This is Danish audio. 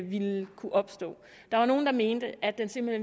ville kunne opstå der var nogle der mente at den simpelt